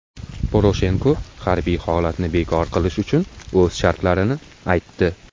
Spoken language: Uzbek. Poroshenko harbiy holatni bekor qilish uchun o‘z shartlarini aytdi.